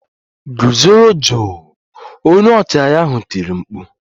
Gụzoro jụụ! Onye ọchịagha ahụ tiri mkpu